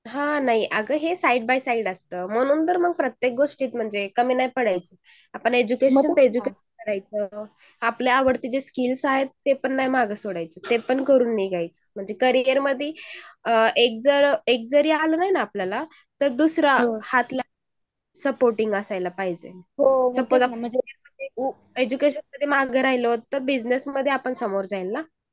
हा नाही हे साईड बे साईड असतं मुलींनी ना प्रत्येक गोष्टीत कमी नाही पडायचं एज्युकेशन करायचं , आपले जे आवडते जे स्किल्स आहेत ते पण नाही सोडायचं म्हणजे करियर मढी एक जर आला नाही ना आपल्याया , दुसर हात सपोर्टींग असायला पाहिजे . एझ्यकेशन मागे जरी राहील तर बिजनेस मध इतर आपण पुढे जैन ना